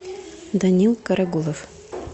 данил карагулов